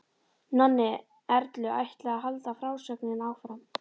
Nonni Erlu ætlaði að halda frásögninni áfram.